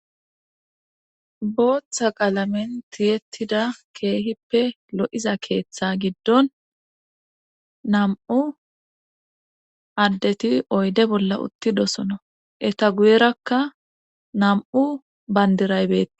booththa qalamen tiyettida keehippe lo7iza keeththa giddon nam7u addeti oyde bolla utti dosono eta guyerakka nam7u bandiray beetes